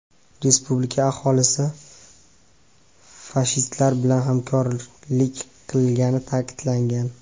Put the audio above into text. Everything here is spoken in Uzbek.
Respublika aholisi fashistlar bilan hamkorlik qilgani ta’kidlangan.